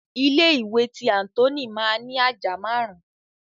Ilé ìwé tí Anthony ma ni àjà máàrún.